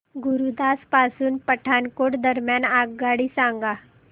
गुरुदासपुर पासून पठाणकोट दरम्यान आगगाडी सांगा